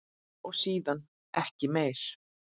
Og síðan ekki meir?